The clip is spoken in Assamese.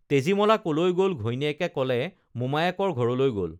তেজীমলা ক'লৈ গ'ল ঘৈণীয়েকে ক'লে মোমায়েকৰ ঘৰলে গ'ল